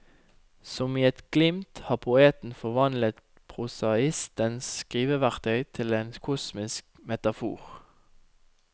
Som i et glimt har poeten forvandlet prosaistens skriveverktøy til en kosmisk metafor.